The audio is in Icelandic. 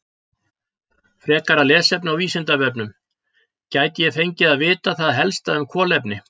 Frekara lesefni á Vísindavefnum: Gæti ég fengið að vita það helsta um kolefni?